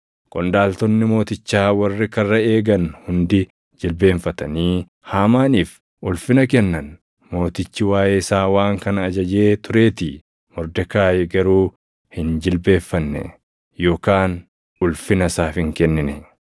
Qondaaltonni mootichaa warri karra eegan hundi jilbeenfatanii Haamaaniif ulfina kennan; mootichi waaʼee isaa waan kana ajajee tureetii. Mordekaayi garuu hin jilbeenfanne yookaan ulfina isaaf hin kennine.